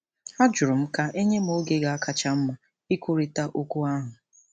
Ajụrụ m ka e nye m oge ga-akacha mma ikwurịta okwu ahụ.